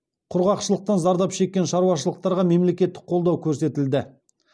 құрғақшылықтан зардап шеккен шаруашылықтарға мемлекеттік қолдау көрсетілді